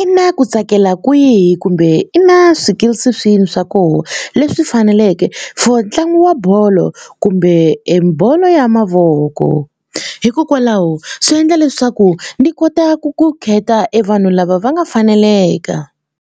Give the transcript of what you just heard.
i na ku tsakela kwihi kumbe i na swikilisi swihi swa koho leswi faneleke for ntlangu wa bolo kumbe e bolo ya mavoko hikokwalaho swi endla leswaku ni kota ku ku khetha e vanhu lava va nga faneleka.